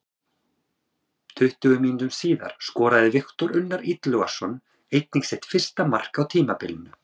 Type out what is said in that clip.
Tuttugu mínútum síðar skoraði Viktor Unnar Illugason einnig sitt fyrsta mark á tímabilinu.